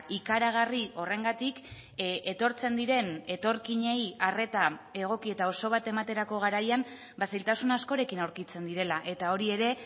ikaragarri horrengatik etortzen diren etorkinei arreta egoki eta oso bat ematerako garaian zailtasun askorekin aurkitzen direla eta hori ere